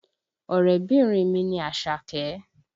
Ọ̀rẹ́bìnrin mi ni Àṣàkẹ́